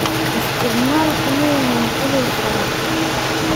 Isticmaalku ma yahay cudur faafa?